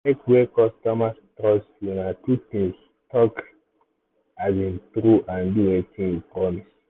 to make wey customers trust you na two things talk um true and do wetin you promise.